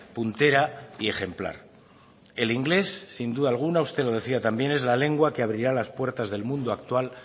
puntera y ejemplar el inglés sin duda alguna usted lo decía también es la lengua que abrirá las puertas del mundo actual